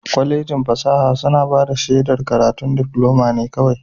Kwallejin fasaha suna bada shedar karatun diploma ne kawai.